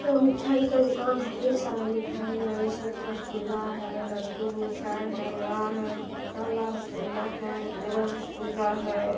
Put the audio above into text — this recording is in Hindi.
यह मिठाई का दुकान हैढेर सारा मिठाईया इसमे रसगुल्ला है लड्डू मिठाई है पेडा है काला रसगुल्ला है उजला रसगुल्ला है।